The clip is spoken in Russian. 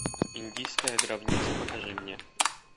индийская гробница покажи мне